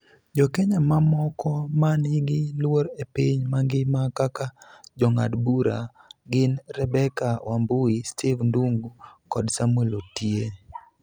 Jo Kenya mamoko ma nigi luor e piny mangima kaka jong'ad bura gin Rebecca Wambui, Steve Ndung'u kod Samuel Otie